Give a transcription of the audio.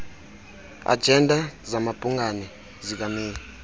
ajenda zamabhungana zikameyi